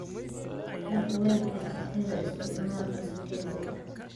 Dhaq weelka jikada isticmaal kasta ka dib.